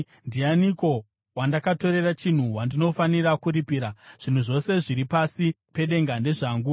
Ndianiko wandakatorera chinhu wandinofanira kuripira? Zvinhu zvose zviri pasi pedenga ndezvangu.